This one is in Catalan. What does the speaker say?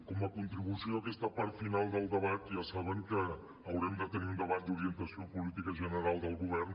com a contribució a aquesta part final del debat ja saben que haurem de tenir un debat d’orientació política general del govern